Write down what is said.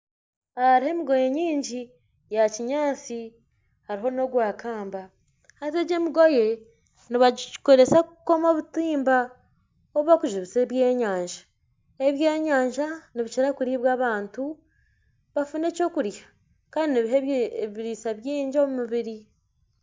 Aha hariho emigoye mingi ya kinyaatsi hariho nagwa kamba haza egi emigoye nibagikoreka kukoma obutimba obu barikujumbisa ebyenyanja, ebyenyanja nibikira kuribwa abantu bafuna eky'okurya kandi nibiha ebiriisa bingi omu mibiri